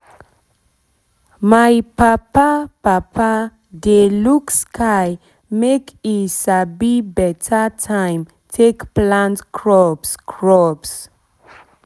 my papa papa dey look sky make e sabi beta time take plant crops crops